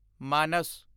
ਮਾਨਸ